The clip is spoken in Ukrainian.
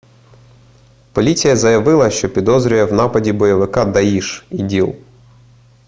поліція заявила що підозрює в нападі бойовика даїш іділ